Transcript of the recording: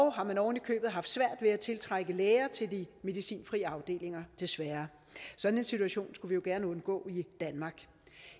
har man ovenikøbet haft svært ved at tiltrække læger til de medicinfri afdelinger desværre sådan en situation skulle jo vi gerne undgå